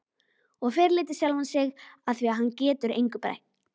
Og fyrirlíti sjálfan sig afþvíað hann getur engu breytt.